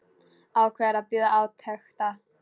Ákveður að bíða átekta.